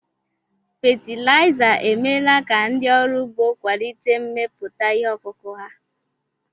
Fatịlaịza emeela ka ndị ọrụ ugbó kwalite mmepụta ihe ọkụkụ̀ ha.